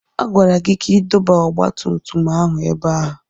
A gwara gị ka ị dọba ọgba tum tum ahụ ebe a!